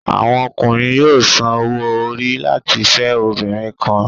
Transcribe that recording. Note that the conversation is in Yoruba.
Àwọn Ọkùnrin yóò sàn òwò-ori láti fẹ obìnrin kàn